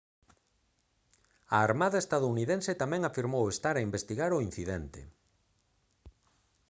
a armada estadounidense tamén afirmou estar a investigar o incidente